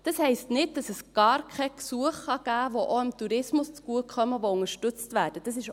Das heisst nicht, dass es gar keine Gesuche geben kann, die unterstützt werden und auch dem Tourismus zugutekommen.